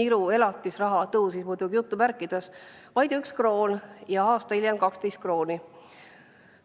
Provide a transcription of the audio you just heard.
niru elatisraha – "tõusis" muidugi jutumärkides – vaid üks kroon ja aasta hiljem 12 krooni.